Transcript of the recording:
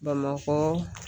Bamakɔ